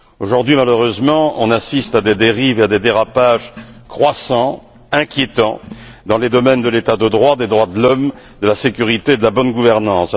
Aujourd'hui malheureusement, nous assistons à des dérives, à des dérapages croissants, inquiétants dans les domaines de l'état de droit, des droits de l'homme, de la sécurité et de la bonne gouvernance.